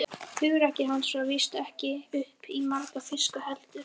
Hugrekki hans var víst ekki upp á marga fiska heldur.